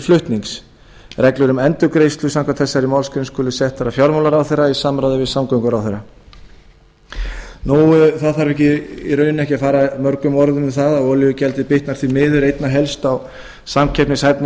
flutnings reglur um endurgreiðslu samkvæmt þessari málsgrein skulu settar af fjármálaráðherra í samráði við samgönguráðherra það þarf í raun ekki að fara mörgum orðum um það að olíugjaldið bitnar því miður einna helst á samkeppnishæfni